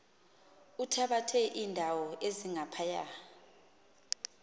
uthabathe iindawo ezingaphaya